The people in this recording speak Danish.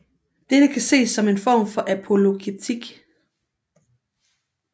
Dette kan ses som en form for apologetik